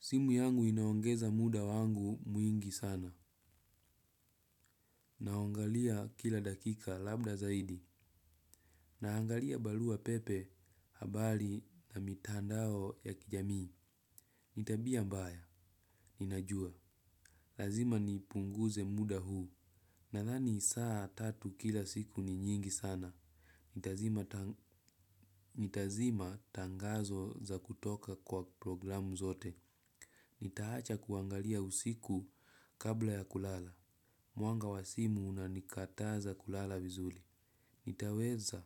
Simu yangu inaongeza muda wangu mwingi sana. Naongalia kila dakika labda zaidi. Naangalia barua pepe, habari na mitandao ya kijamii. Ni tabia mbaya. Ninajua. Lazima nipunguze muda huu. Nadhani saa tatu kila siku ni nyingi sana. Nitazima tangu nitazima tangazo za kutoka kwa programu zote. Nitaacha kuangalia usiku kabla ya kulala. Mwangaza wa simu unanikataza kulala vizuli. Itaweza.